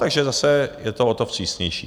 Takže zase je to o to vstřícnější.